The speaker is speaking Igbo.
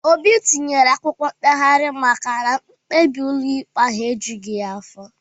Obi tinyere akwụkwọ mkpegharị maka na mkpebi ụlọikpe ahụ ejughị ya afọ